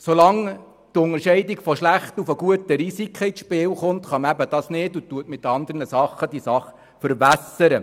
Solange die Unterscheidung von schlechten und guten Risiken ins Spiel kommt, ist das nicht möglich, und die Sache wird mit anderen Aspekten verwässert.